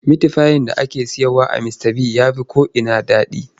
Mitifayin da ake sayarwa a Mistabigs ya fi ko'ina daɗi.